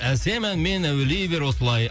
әсем әнмен әуелей бер осылай